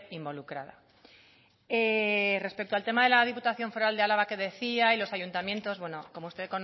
involucrada respecto al tema de la diputación foral de álava que decía y los ayuntamientos bueno como usted